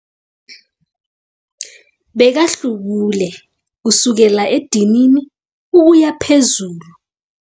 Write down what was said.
Bekahlubule kusukela edinini ukuya phezulu.